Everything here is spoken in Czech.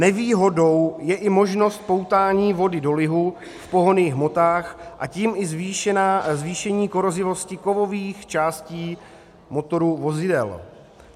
Nevýhodou je i možnost poutání vody do lihu v pohonných hmotách, a tím i zvýšení korozivosti kovových částí motorů vozidel.